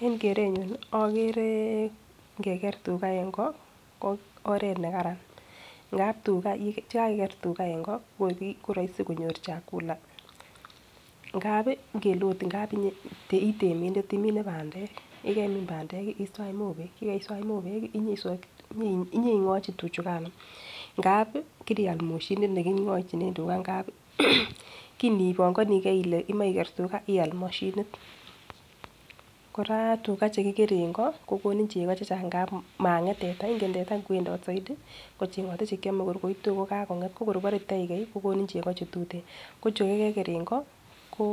En kerenyun ii ogere ingeger tuga en ng'o ko oret nekararan, ngab tuga chekakiker en ng'o ko roisi konyor chakula, ingab ii ngele ot etemindet imine bandek, yekarimin bandek iswach mobek, yekariswach mobek ii inyeniswokyi tuchigano ingab ii kirial moshinit neking'ojinen tuga, kinibongonigen ile imoche iger tuga ii emoche ial moshinit, kora tuga chekikere en ng'o kokonin chego chechang' mang'et teta, inget teta inwendot soidi kocheng'ote chekiome kor koitu kokakong'et ko inibore itegei kokonin chego chetuten, ko chukokeger en ng'o ko